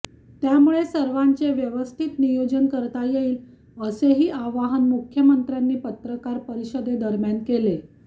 त्यामुळे सर्वांचे व्यवस्थित नियोजन करता येईल असेही आवाहन मुख्यमंत्र्यांनी पत्रकार परिषदेदरम्यान केले